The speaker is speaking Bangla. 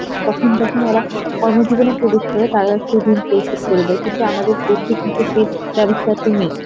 তখন ওরা কর্ম জীবনে প্রবেশ করে তারা করে যায়, কিন্তু আমাদের দেশে কিন্তু সেই ব্যবস্থাটি নেই